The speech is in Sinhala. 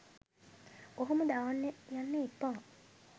ඔහොම දාන්න යන්න එපා.